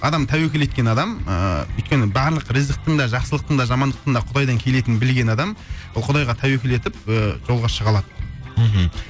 адам тәуекел еткен адам ыыы өйткені барлық риызықтың да жақсылықтың да жамандықтың да құдайдан келетінін білген адам ол құдайға тәуекел етіп ы жолға шыға алады мхм